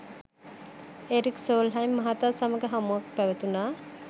Eric Solheim මහතා සමග හමුවක් පැවතුනා.